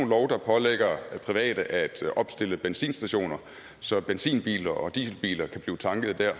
lov der pålægger private at opstille benzinstationer så benzinbiler og dieselbiler kan blive et tankede der